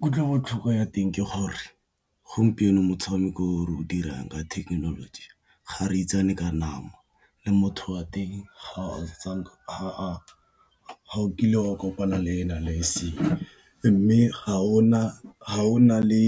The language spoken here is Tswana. Kutlo botlhoko ya teng ke gore gompieno motshameko o o dirang ka thekenoloji ga re itsane ka nama, le motho wa teng ga o kile wa kopana le ena le eseng. Mme ga o na le